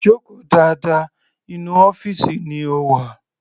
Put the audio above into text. Joko dáadáa, inú ọ́fìsì ni o wà.